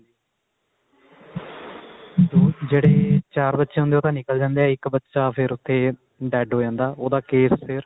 ਜਿਹੜੇ ਚਾਰ ਬੱਚੇ ਹੁੰਦੇ ਉਹ ਤਾਂ ਨਿੱਕਲ ਜਾਂਦੇ ਨੇ ਇੱਕ ਬੱਚਾ ਫ਼ੇਰ ਉੱਥੇ dead ਹੋ ਜਾਂਦਾ ਉਹਦਾ case ਫ਼ੇਰ